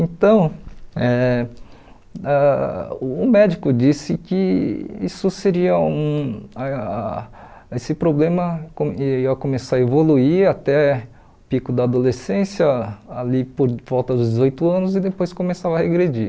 Então, eh ãh o médico disse que isso seria um ãh esse problema co ia começar a evoluir até o pico da adolescência, ali por volta dos dezoito anos, e depois começava a regredir.